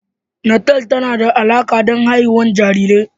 Natal tana da alaƙa da haihuwar jarirai.